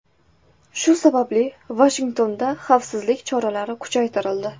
Shu sababli Vashingtonda xavfsizlik choralari kuchaytirildi .